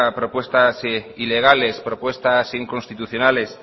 propuestas ilegales propuestas inconstitucionales